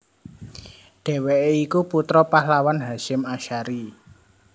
Dheweke iku putra pahlawan Hasyim Ashari